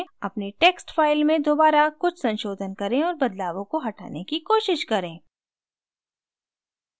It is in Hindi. अपनी text file में दोबारा कुछ संशोधन करें और बदलावों को हटाने की कोशिश करें